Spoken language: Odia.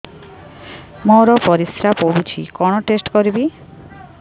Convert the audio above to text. ମୋର ପରିସ୍ରା ପୋଡୁଛି କଣ ଟେଷ୍ଟ କରିବି